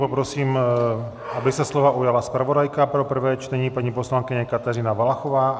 Poprosím, aby se slova ujala zpravodajka pro prvé čtení, paní poslankyně Kateřina Valachová.